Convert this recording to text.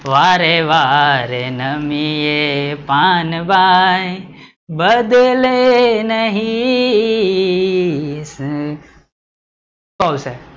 વારે વારે નમીયે પાનવાય બદલે નહિ સુ આવશે?